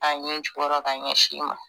A ɲɛ jugɔrɔ ka ɲɛsin i ma